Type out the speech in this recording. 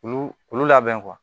Olu olu labɛn